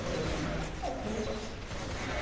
Ele falou, então faz verde.